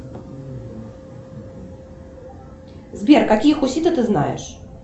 сбер какие хуситы ты знаешь